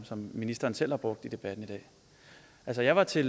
ministeren selv har brugt i debatten i dag altså jeg var til